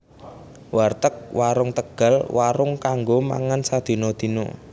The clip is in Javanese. Warteg Warung Tegal Warung kanggo mangan sadina dina